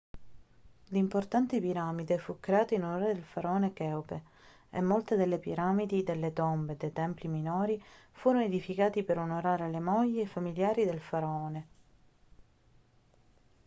l'importante piramide fu creata in onore del faraone cheope e molte delle piramidi delle tombe e dei templi minori furono edificati per onorare le mogli e i familiari del faraone